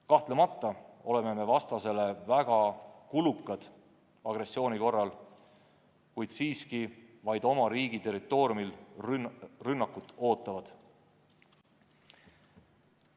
Kahtlemata oleme vastasele agressiooni korral väga kulukad, kuid siiski me oleme jõud, mis oma riigi territooriumil rünnakut ootavad.